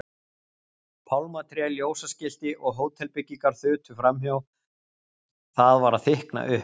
Pálmatré, ljósaskilti og hótelbyggingar þutu framhjá, það var að þykkna upp.